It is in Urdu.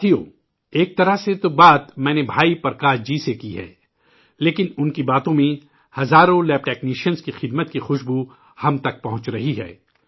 ساتھیوں، ایک طرح سے بات تو میں نے بھائی پرکاش جی سے کی ہے، لیکن انکی باتوں میں ہزاروں لیب ٹیکنیشین کی خدمات کو خوشبو ہم تک پہنچ رہی ہے